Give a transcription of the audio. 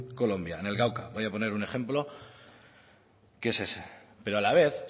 colombia en el cauca voy a poner un ejemplo que es ese pero a la vez